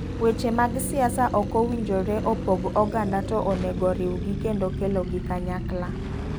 Weche mag siasa okowinjore opog oganda to onego oriw gi kendo kelo gi kanyakla.